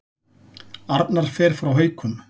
Arnar fer frá Haukum